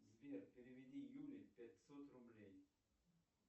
сбер переведи юле пятьсот рублей